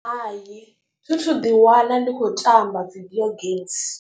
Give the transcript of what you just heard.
Hai thi thu ḓiwana ndi khou tamba video games.